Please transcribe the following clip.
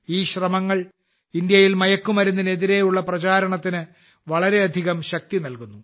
ഈ ശ്രമങ്ങൾ ഇന്ത്യയിൽ മയക്കുമരുന്നിനെതിരെയുള്ള പ്രചാരണത്തിന് വളരെയധികം ശക്തി നൽകുന്നു